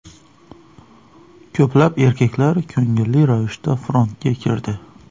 Ko‘plab erkaklar ko‘ngilli ravishda frontga kirdi.